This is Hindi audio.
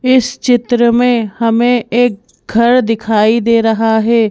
इस चित्र में हमें एक घर दिखाई दे रहा है।